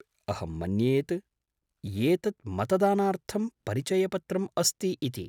अहं मन्ये यत् एतत् मतदानार्थं परिचयपत्रम् अस्ति इति।